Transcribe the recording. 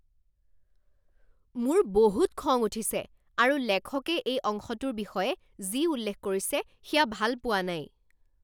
মোৰ বহুত খং উঠিছে আৰু লেখকে এই অংশটোৰ বিষয়ে যি উল্লেখ কৰিছে সেয়া ভাল পোৱা নাই।